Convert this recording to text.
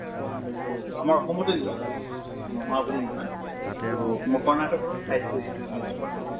তʼ আমাৰ অসমতো use হয়, ন্হোৱা বুলি নহয়। তʼ ম কৰ্ণাটকৰো চাইছো এইটো use হোৱাতো